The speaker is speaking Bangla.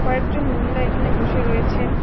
কয়েকজন মহিলা এখানে বসে রয়েছেন।